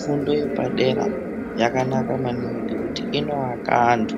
Fundo yepadera yakanaka maningi ngekuti inoaka anhu